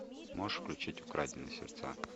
можешь включить украденные сердца